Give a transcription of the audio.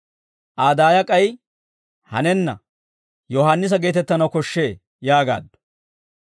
Aa daaya k'ay, «Hanenna, Yohaannisa geetettanaw koshshee» yaagaaddu.